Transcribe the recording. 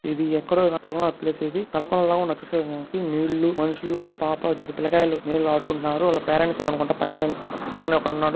ఇది ఎక్కడో గాని ఉన్న ప్లేస్ ఇది.తలకోన లా ఉన్న దృశ్యం ఇది. నీళ్ళు మనుషులు ఒక పాప ఇద్దరు పిల్లకాయలు నీళ్ళలో ఆడుకుంటున్నారు.వాళ్ళ పేరెంట్స్ .]